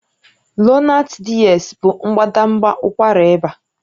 Lonart DS bụ mbadamba ụkwara ịba